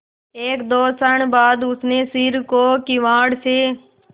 एकदो क्षण बाद उसने सिर को किवाड़ से